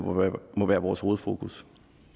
må være vores hovedfokus